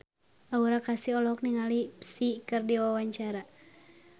Aura Kasih olohok ningali Psy keur diwawancara